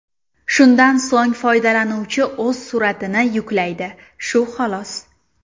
Shundan so‘ng foydalanuvchi o‘z suratini yuklaydi, shu xolos.